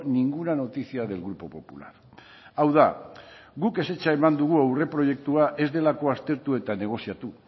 ninguna noticia del grupo popular hau da guk ezetza eman dugu aurreproiektua ez delako aztertu eta negoziatu